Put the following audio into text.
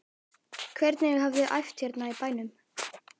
Hvernig hafiði æft hérna í bænum?